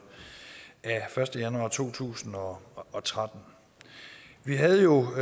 af første januar to tusind og og tretten vi havde jo